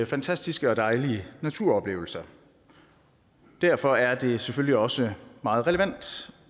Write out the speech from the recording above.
fantastiske og dejlige naturoplevelser derfor er det selvfølgelig også meget relevant